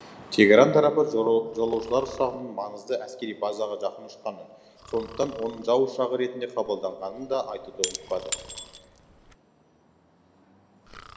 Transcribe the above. тегеран тарапы жолаушылар ұшағының маңызды әскери базаға жақын ұшқанын сондықтан оның жау ұшағы ретінде қабылданғанын да айтуды ұмытпады